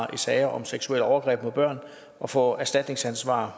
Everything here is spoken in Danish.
i sager om seksuelle overgreb mod børn og for erstatningsansvar